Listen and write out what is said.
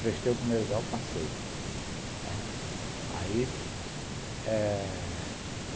Prestei o primeiro grau, passei, né, aí eh